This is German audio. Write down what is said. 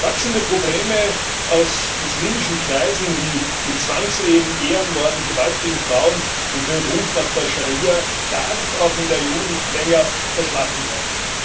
Wachsende Probleme aus muslimischen Kreisen wie mit Zwangsehen, Ehrenmorden, Gewalt gegen Frauen und dem Ruf nach der Scharia dürfen auch in der EU nicht länger verschlafen werden.